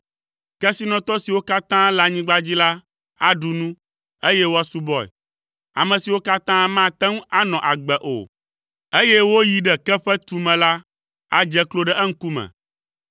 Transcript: Kesinɔtɔ siwo katã le anyigba dzi la aɖu nu, eye woasubɔe; ame siwo katã mate ŋu anɔ agbe o, eye woyi ɖe ke ƒe tume la adze klo ɖe eŋkume.